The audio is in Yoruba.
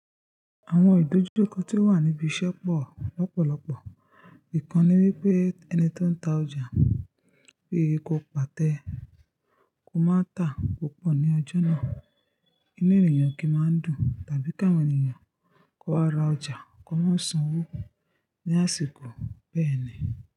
Àwọn ìdojúkọ tó wà níbi ìṣẹ́ pọ̀ lọ́pọ̀lọpọ̀. Ìkan ni wípé ẹni tó ń ta ọjà, pé ko pàtẹ́, ko máa tà púpọ̀ ní ọjọ́ náà. Inú ènìyàn kì í máa ń dùn, tàbí káwọn ènìyàn wá ra ọjà, kó mo san owó ní àsìkò bẹ́ẹ̀ni.